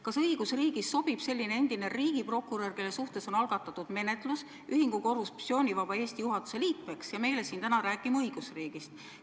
Kas õigusriigis sobib selline endine riigiprokurör, kelle suhtes on algatatud menetlus, ühingu Korruptsioonivaba Eesti juhatuse liikmeks ja meile siin täna õigusriigist rääkima?